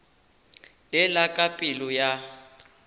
le la ka pelo ya